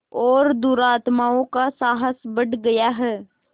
और दुरात्माओं का साहस बढ़ गया है